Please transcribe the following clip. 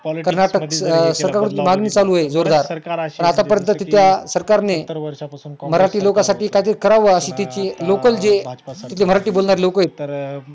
कर्नाटक सकळ हुन मागणी चालू आहे जोरदार आता पर्यंत तिथल्या सरकारने मराठी लोकांसाठी काहीतरी करावं अशी त्यांची लोकल जे तिथं मराठी बोलणारी जे लोकं आहेत